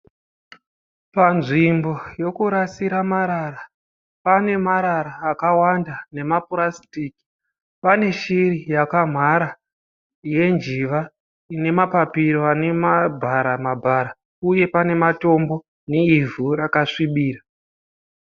Panzvimbo yekurasira marara pane marara akawanda nemapurasitiki. Pane shiri yakamhara yenjiva ine mapapiro ane mabhara mabhara uye pane matombo neivhu rasvibira.